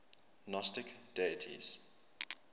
gnostic deities